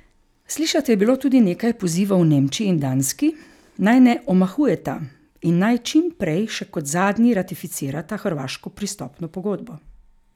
Slišati je bilo tudi nekaj pozivov Nemčiji in Danski, naj ne omahujeta in naj čim prej še kot zadnji ratificirata hrvaško pristopno pogodbo.